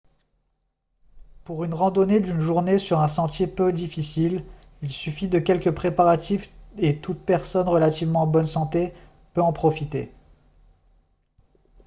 pour une randonnée d'une journée sur un sentier peu difficile il suffit de quelques préparatifs et toute personne relativement en bonne santé peut en profiter